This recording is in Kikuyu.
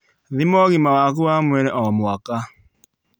Thima ũgima waku wa mahĩndĩ o mwaka